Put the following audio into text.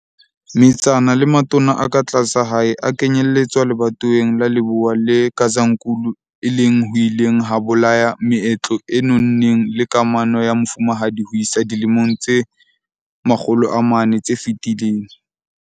Metsana le matona a ka tlasa hae a kenyelletswa lebatoweng la Lebowa le Gazankulu e leng ho ileng ha bolaya meetlo e nonneng le kamano ya mofumahadi ho isa dilemong tse 400 tse fetileng.